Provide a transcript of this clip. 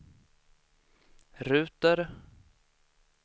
ruter